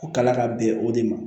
Ko kala ka bɛn o de ma